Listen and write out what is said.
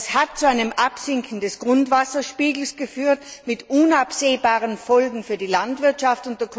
Das hat zu einem Absinken des Grundwasserspiegels geführt mit unabsehbaren Folgen für die Landwirtschaft.